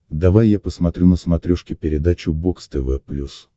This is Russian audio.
давай я посмотрю на смотрешке передачу бокс тв плюс